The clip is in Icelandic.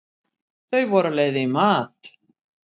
Þau voru á leið í mat.